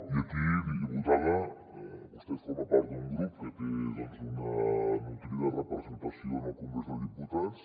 i aquí diputada vostè forma part d’un grup que té una nodrida re·presentació en el congrés dels diputats